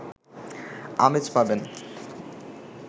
আমেজ পাবেন